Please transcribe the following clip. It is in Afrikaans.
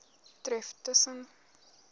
tref tus sen